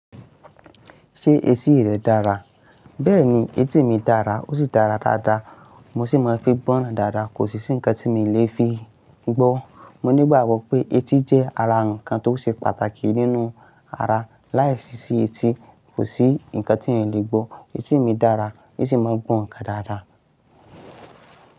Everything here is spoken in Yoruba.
Ṣé etí rẹ dára? Bẹẹni, etí mi dára, ó sì dára dáadáa, mo sì mọ fi gbọ́nràn dáadáa, kò sì sí nǹkan tí mi lè fi gbọ́. Mo nígbàgbọ́ pé etí jẹ́ ara ǹkan tó ṣe pàtàkì nínú ara. Láìsí sí etí, kò sí ǹkan tí èèyàn lè gbọ́. Etí mi dára, ó sì mọ gbọ́ ǹkan dáadáa.